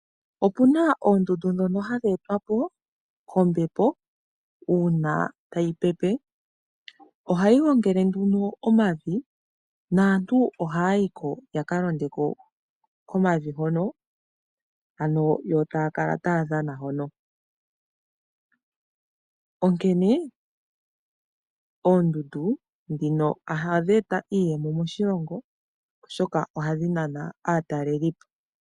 Opu na oondundu ndhono hadhi etwapo kombepo uuna tayi pepe ohayi gongele nduno omavi naantu ohaa yi ko yaka londeko komavi hono, ano yo taa kala taya dhana .Onkene oondundu ndhino ohadhi eta iiyemo moshilongo, oshoka ohadhi nana aatalelipo.